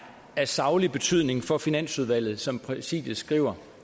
af saglig betydning for finansudvalget som præsidiet skriver